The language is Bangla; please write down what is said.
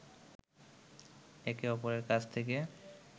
একে অপরের কাছ থেকে